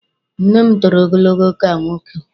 Nne m toro ogologo ka nwoke.